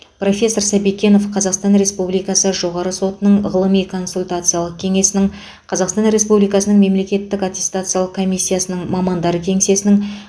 профессор сәбикенов қазақстар республикасы жоғарғы сотының ғылыми консультациялық кеңесінің қазақстан республикасының мемлекеттік аттестациялық комиссиясының мамандар кеңесінің